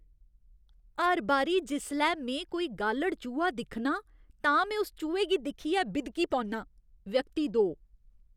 हर बारी जिसलै में कोई गालढ़ चूहा दिक्खनां, तां में उस चूहे गी दिक्खियै बिदकी पौन्नां। व्यक्ति दो